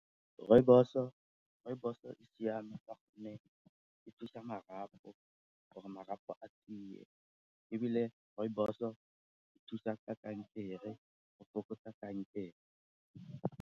Rooibos-o e siama ka gonne e thusa marapo gore marapo a tiye ebile rooibos-o e thusa ka kankere go fokotsa kankere.